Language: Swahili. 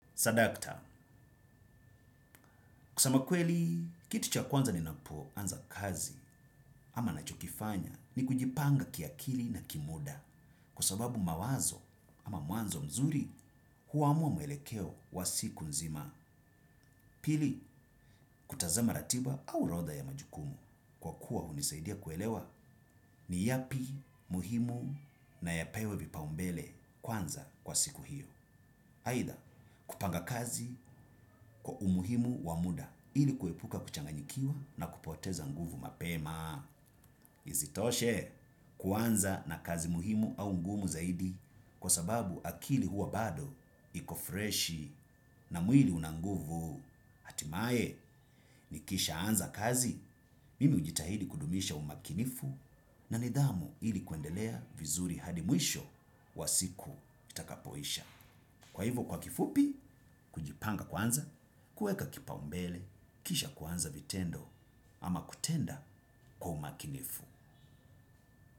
Sadakta, kusema kweli, kiti cha kwanza ninapo anza kazi ama ninacho kifanya ni kujipanga kiakili na kimuda kwa sababu mawazo ama mwanzo mzuri huamua mwelekeo wa siku nzima pili kutazama ratiba au orodha ya majukumu kwa kuwa hunisaidia kuelewa ni yapi muhimu na yapewe vipaumbele kwanza kwa siku hiyo. Aidha kupanga kazi kwa umuhimu wa muda ili kuepuka kuchanganyikiwa na kupoteza nguvu mapema. Isitoshe kuanza na kazi muhimu au ngumu zaidi kwa sababu akili huwa bado iko freshi na mwili unanguvu. Timae nikishaanza kazi, mimi hujitahidi kudumisha umakinifu na nidhamu ili kuendelea vizuri hadi mwisho wa siku itakapoisha. Kwa hivo kwa kifupi, kujipanga kwanza, kuweka kipaumbele, kisha kuanza vitendo ama kutenda kwa umakinifu.